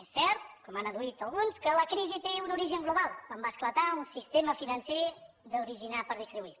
és cert com han adduït alguns que la crisi té un origen global quan va esclatar un sistema financer d’originar per distribuir